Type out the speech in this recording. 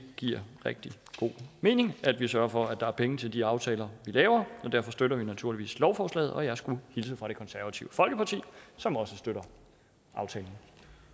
giver rigtig god mening at vi sørger for at der er penge til de aftaler vi laver og derfor støtter vi naturligvis lovforslaget og jeg skulle hilse fra det konservative folkeparti som også støtter aftalen